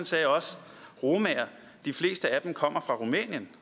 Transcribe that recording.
sagde også romaer de fleste af dem kommer fra rumænien